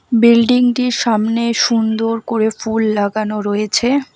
বিল্ডিংটির সামনে সুন্দর করে ফুল লাগানো রয়েছে।